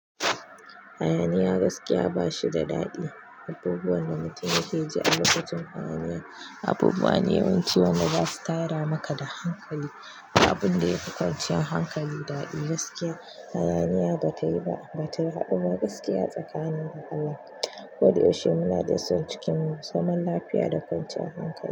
Hayaniya gaskiya ba shi da daɗi. Abubuwan da mutum yake ji a lokacin hayaniya, abubuwa ne yawanci wanda ba su tada maka da hankali. Abun da ya fi kwanciyar hankali daɗi gaskiya, hayaniya ba tayi ba bata haɗu ba gaskiya tsakanin da Allah. Koda yaushe muna da son cikin zaman lafiya da kwanciyar hankali.